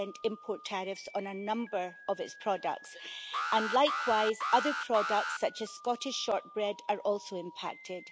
import tariffs on a number of its products, and likewise, other products such as Scottish shortbread are also impacted.